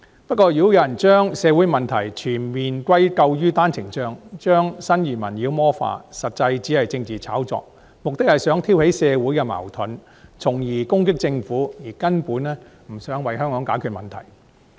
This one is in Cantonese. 不過，如果有人將社會問題完全歸咎於單程證，將新移民妖魔化，實際只是政治炒作，目的是想挑起社會矛盾，從而攻擊政府，根本不想為香港解決問題。